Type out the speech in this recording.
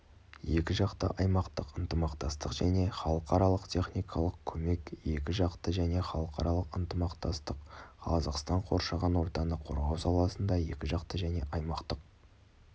екіжақты аймақтық ынтымақтастық және халықаралық техникалық көмек екіжақты және халықаралық ынтымақтастық қазақстан қоршаған ортаны қорғау саласында екіжақты және аймақтық